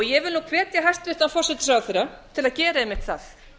ég vil nú hvetja hæstvirtan forsætisráðherra til að gera einmitt það